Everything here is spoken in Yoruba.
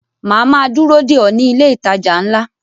Màá ma dúró dè ọ́ ní ilé ìtajà ńlá